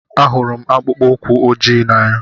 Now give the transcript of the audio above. Ahụrụ m akpụkpọ ụkwụ ojii n'anya.